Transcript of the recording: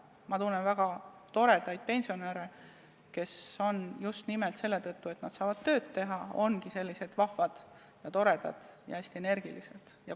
Ma tunnen väga toredaid pensionäre, kes ongi just nimelt selle tõttu, et nad saavad tööd teha, sellised vahvad, toredad ja hästi energilised.